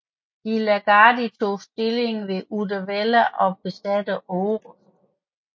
De la Gardie tog stilling ved Uddevalla og besatte Orust